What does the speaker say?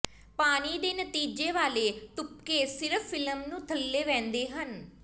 ਪਾਣੀ ਦੇ ਨਤੀਜੇ ਵਾਲੇ ਤੁਪਕੇ ਸਿਰਫ ਫਿਲਮ ਨੂੰ ਥੱਲੇ ਵਹਿੰਦੇ ਹਨ